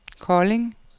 Kolding